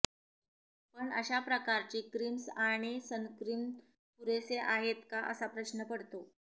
पण अशा प्रकारची क्रिम्स् आणि सनस्क्रिन पुरेसे आहेत का असा प्रश्न पडतो